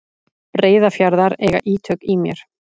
Breiðafjarðar eiga ítök í mér.